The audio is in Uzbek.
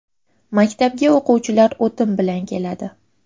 Maktabga o‘quvchilar o‘tin bilan keladi.